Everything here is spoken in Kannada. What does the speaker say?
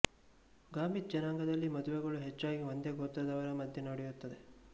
ಗಾಮಿತ್ ಜನಾಂಗದಲ್ಲಿ ಮದುವೆಗಳು ಹೆಚ್ಚಾಗಿ ಒಂದೇ ಗೋತ್ರದವರ ಮಧ್ಯೆ ನಡೆಯುತ್ತದೆ